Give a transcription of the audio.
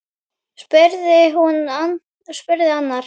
spurði annar.